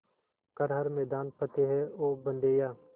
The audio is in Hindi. कर हर मैदान फ़तेह ओ बंदेया